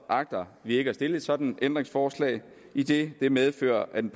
agter vi ikke at stille et sådant ændringsforslag idet det medfører at den